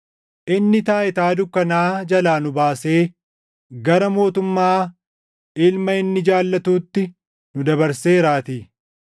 Inni taayitaa dukkanaa jalaa nu baasee gara mootummaa Ilma inni jaallatuutti nu dabarseeraatii;